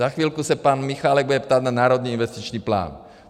Za chvilku se pan Michálek bude ptát na Národní investiční plán.